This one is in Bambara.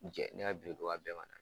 Jɛ ne ka birintuba bɛɛ ma